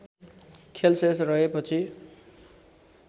खेल शेष रहेपछि